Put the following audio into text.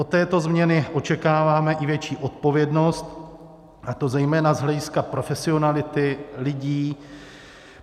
Od této změny očekáváme i větší odpovědnost, a to zejména z hlediska profesionality lidí.